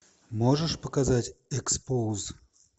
можешь показать экспоуз